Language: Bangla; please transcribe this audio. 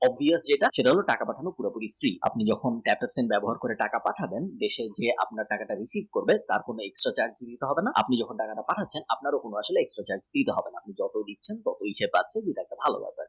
app গুলো যেটা ছিল টাকা পাঠিয়ে আপনি নতুন app ব্যবহার করে টাকা পাঠালে বেশি যে আপনার টাকাটা receive করবে তার কোনও extra charge লাগবে না। আপনি যখন টাকাটা পাঠিয়েছেন আপনার ও প্রতি মাসে extra charge দিতে হবে না। যখনই আপনি দিচ্ছেন তখনই সে পাচ্ছে